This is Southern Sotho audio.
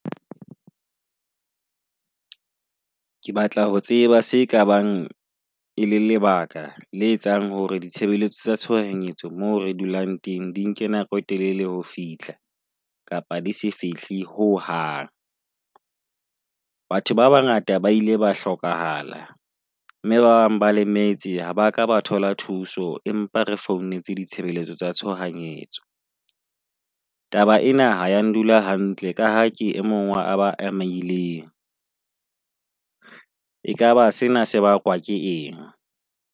Ke batla ho tseba se ka bang e le lebaka la etsang hore ditshebeletso tsa tshohanyetso moo re dulang teng di nke nako e telele ho fihla kapa di se fihle ho hang. Batho ba bangata ba ile ba hlokahala, mme bang ba lemetse ha ba ka ba thola thuso. Empa re founetse ditshebeletso tsa tshohanyetso. Taba ena ha ya ndula hantle ka ha ke emong wa aba emaileng. Ekaba sena se bakwa ke eng?